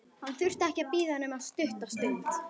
Hann þurfti ekki að bíða nema stutta stund.